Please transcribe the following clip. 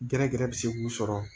Gɛrɛgɛrɛ bɛ se k'u sɔrɔ